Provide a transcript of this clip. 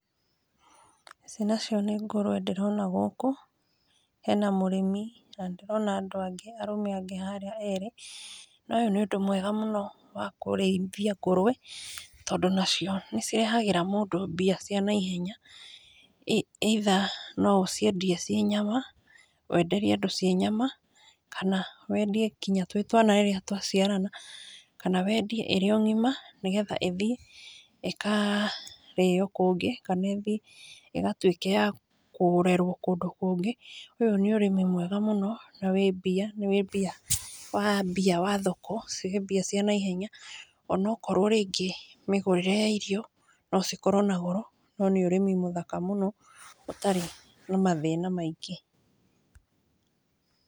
Ici nacio nĩ ngũrũwe ndĩrona gũkũ hena mũrĩmi na ndĩrona andũ agĩ arũme angĩ harĩa eerĩ, na ũyũ nĩ ũndũ mwega mũno wa kũreĩthĩa ngũrũwe tondũ nacio nĩcirehagĩra mũndũ mbia cia naĩhenya, either nũ ũciendĩe cie nyama wenderie andũ cie nyama kana wendĩe ngĩnya twĩ twana rĩrĩa twaciarana. Kana wendĩe ĩrĩo ngĩma nĩgetha ĩthĩe ĩkarĩo kũngĩ kana ĩthĩe ĩgatũĩke ya kũrerwo kũndũ kũgĩ. Ũyũ nĩ ũrĩmi mwega mũno na mbĩa wambĩa thoko nĩcire mbĩa cia naĩhenya onaokrwo rĩngĩ mĩgũrĩre ya irio nũ cikorwo na goro no nĩ ũrĩmi mũthaka mũno ũtarĩ na mathĩna maingĩ.